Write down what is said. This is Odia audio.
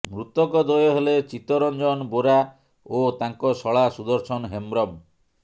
ମୃତକ ଦ୍ୱୟ ହେଲେ ଚିତରଞ୍ଜନ ବୋରା ଓ ତାଙ୍କ ଶଳା ସୁଦର୍ଶନ ହେମ୍ବ୍ରମ